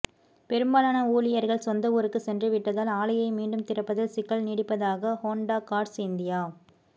பெரும்பாலான ஊழியா்கள் சொந்த ஊருக்கு சென்றுவிட்டதால் ஆலையை மீண்டும் திறப்பதில் சிக்கல் நீடிப்பதாக ஹோண்டா காா்ஸ் இந்தியா